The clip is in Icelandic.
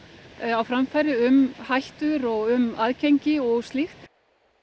á framfæri um hættur og um aðgengi og slíkt